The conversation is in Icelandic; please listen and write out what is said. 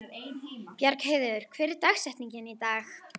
Bjargheiður, hver er dagsetningin í dag?